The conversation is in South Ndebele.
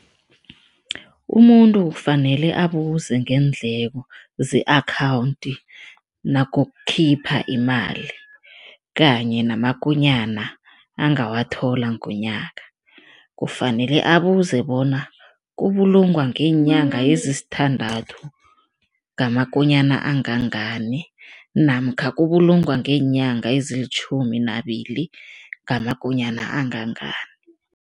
Umuntu kufanele abuze ngeendleko ze-akhawundi nakukhipha imali kanye namakonyana angawathola ngonyaka. Kufanele abuze bona kubulungwa ngeenyanga ezisithandathu, ngamakonyana angangani namkha kubulungwa ngeenyanga ezilitjhumi nabili, ngamakonyana angangani.